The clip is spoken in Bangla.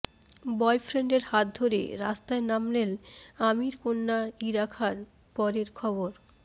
বয়ফ্রেন্ডের হাত ধরে রাস্তায় নামলেন আমিরকন্যা ইরা খান পরের খবর